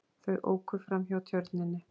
Þau óku framhjá Tjörninni.